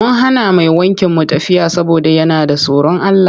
Mun hana mai wankin mu tafiya saboda yana da tsorin Allah.